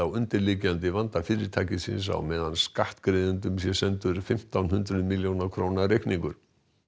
undirliggjandi vanda fyrirtækisins á meðan skattgreiðendum sé sendur fimmtán hundruð milljóna reikningur